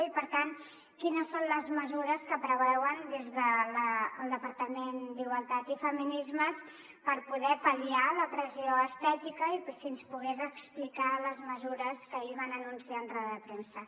i per tant quines són les mesures que preveuen des del departament d’igualtat i feminismes per poder pal·liar la pressió estètica i si ens pogués explicar les mesures que ahir van anunciar en roda de premsa